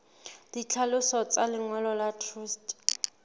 ditlhaloso tsa lengolo la truste